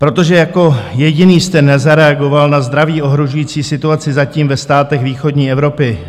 Protože jako jediný jste nezareagoval na zdraví ohrožující situaci zatím ve státech východní Evropy